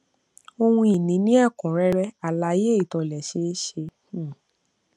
ohun ìní ní ẹkúnrẹrẹ alaye ìtòlésẹẹsẹ um